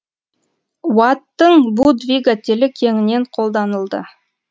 уаттың бу двигателі кеңінен қолданылды